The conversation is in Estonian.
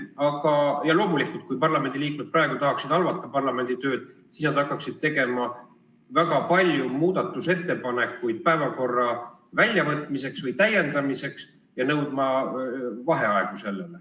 Aga loomulikult, kui parlamendiliikmed praegu tahaksid halvata parlamendi tööd, siis nad hakkaksid tegema väga palju muudatusettepanekuid päevakorrast punktide väljavõtmiseks või päevakorra täiendamiseks ja nõudma vaheaegu.